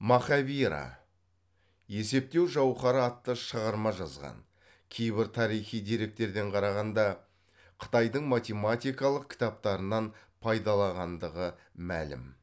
махавира есептеу жауһары атты шығарма жазған кейбір тарихи деректерден қарағанда қытайдың математикалық кітаптарынан пайдалағандығы мәлім